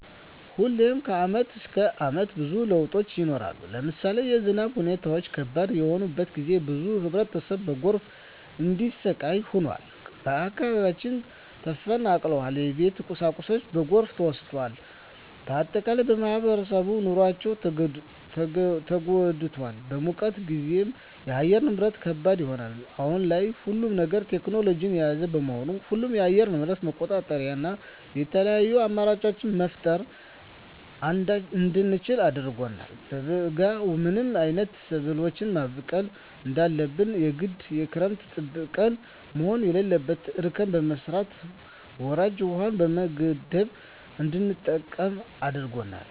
ሁሌም ከአመት እስከ አመት ብዙ ለውጦች ይኖራሉ። ለምሳሌ የዝናብ ሁኔታው ከባድ በሆነበት ጊዜ ብዙ ህብረተሰብ በጎርፍ እንዲሰቃይ ሆኗል። ከአካባቢያቸው ተፈናቅለዋል የቤት ቁሳቁሳቸው በጎርፍ ተወስዷል። በአጠቃላይ በማህበራዊ ኑሯቸው ተጎድተዋል። በሙቀት ጊዜም የአየር ንብረት ከባድ ይሆናል። አሁን ላይ ሁሉም ነገር ቴክኖሎጅን የያዘ በመሆኑ ሁሉንም የአየር ንብረት መቆጣጠር እና የተለያዪ አማራጮች መፍጠር እንድንችል አድርጎናል። በበጋ ምን አይነት ሰብሎችን ማብቀል እንዳለብን የግድ ክረምትን ጠብቀን መሆን የለበትም እርከን በመስራት ወራጅ ውሀዎችን በመገደብ እንድንጠቀም አድርጎናል።